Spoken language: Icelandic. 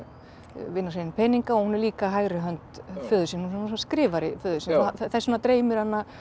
vinna sér inn peninga og hún er líka hægri hönd föður síns hún er skrifari föður síns þess vegna dreymir hana